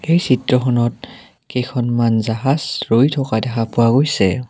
এই চিত্ৰখনত কেইখনমান জাহাজ ৰৈ থকা দেখা পোৱা গৈছে।